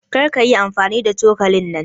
Kar kayi amfani da cokalin nan.